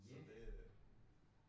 Så det